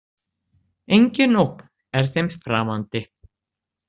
Engin ógn er þeim framandi.